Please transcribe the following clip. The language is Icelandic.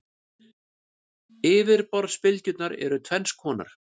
Yfirborðsbylgjurnar eru tvenns konar.